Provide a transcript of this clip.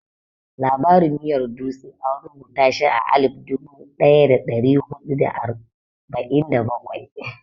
Labarin miyar dutse an rubuta shi a alif dubu ɗaya da ɗari huɗu da arba'in da bakwai.